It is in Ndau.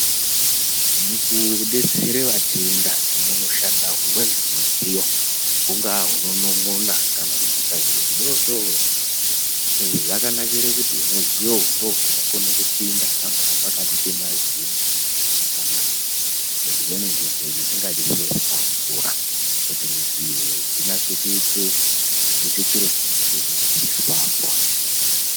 Mukudetsere vatenda munoshanda humweni humidziyo hungaa hunonon'ona kana kubvisa zviro zvidori-dori. Izvi zvakanakire kuti humudziyo uhu ndohunokone kupinda, pangaa pakati pemazino kana mudzimweni ndengo dzisingadi zviro zvakakura kuite kuti dzinatse kuite, kubvise chiro chinenge chichide kubviswapo.